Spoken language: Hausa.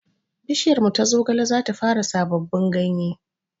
Bishiyarmu ta zogale zata fara sababbin ganye